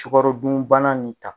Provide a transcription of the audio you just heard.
Sukarodunbana in ta